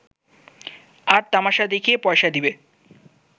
আর তামাশা দেখিয়া পয়সা দিবে